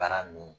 Baara nin